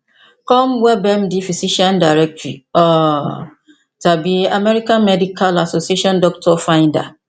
com webmd physician directory um tàbí american medical association doctor finder